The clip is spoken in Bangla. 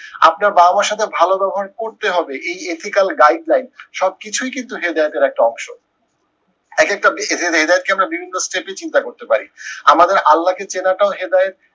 আপনার বাবা মার সাথে ভালো ব্যবহার করতে হবে এই ethical guideline সব কিছুই কিন্তু হেদায়েতের একটা অংশ। এক একটা চিন্তা করতে পারি। আমাদের আল্লা কে চেনাটাও হেদায়েত